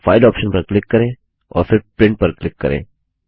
अब file option पर click करें और फिर प्रिंट पर क्लिक करें